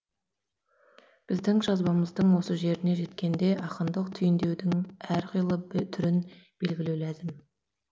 біздің жазбамыздың осы жеріне жеткенде ақындық түйіндеудің әр қилы түрін белгілеу ләзім